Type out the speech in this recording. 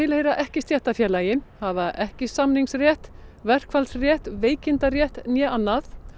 eru ekki í stéttarfélagi hafa ekki samningsrétt verkfallsrétt veikindarétt né annað